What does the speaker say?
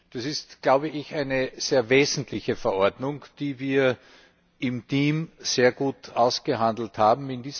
Das ist, glaube ich, eine sehr wesentliche Verordnung, die wir im Team sehr gut ausgehandelt haben.